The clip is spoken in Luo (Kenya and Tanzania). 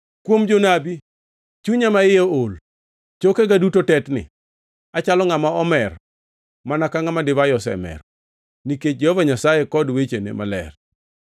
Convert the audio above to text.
Kuom jonabi: Chunya maiye ool; chokega duto tetni. Achalo ngʼama omer, mana ka ngʼama divai osemero, nikech Jehova Nyasaye kod wechene maler.